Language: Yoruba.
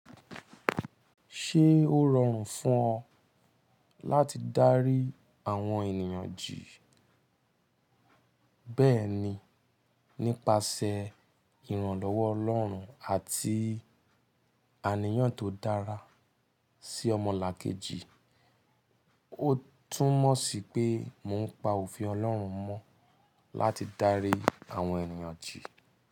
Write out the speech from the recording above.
Ṣé ó rọrùn fún ọ láti dárí àwọn ènìyàn jì? Bẹ́ẹ̀ni, nípasẹ̀ ìrànlọ́wọ́ Ọlọ́run àti àníyàn tó dára sí ọmọlàkejì, ó tún mọ̀ sí pé mò ń pa òfin Ọlọ́run mọ́ láti dárí àwọn ènìyàn jì.